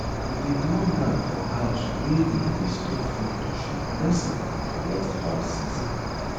we dey draw mark for house wey we dey store food to show blessing for next farm season